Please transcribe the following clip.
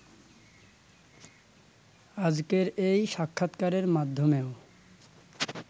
আজকের এই সাক্ষাৎকারের মাধ্যমেও